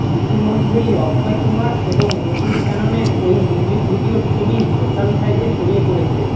ইতিমধ্যেই অক্ষয় কুমার এবং নুপূর শ্যাননের ওই মিউজিক ভিডিয়োর ছবি সোশ্যাল সাইটে ছড়িয়ে পড়েছে